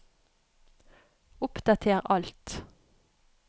oppdater alt